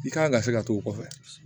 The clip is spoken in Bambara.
I kan ka se ka t'o kɔfɛ